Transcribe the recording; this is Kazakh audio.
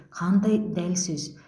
қандай дәл сөз